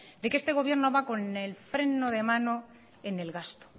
de que este gobierno va con el freno de mano en el gasto